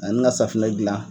Ani ka safunɛ dilan.